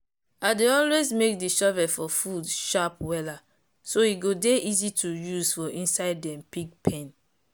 i dey always make the shovel for food sharp wella so e go dey easy to use for inside dem pig pen.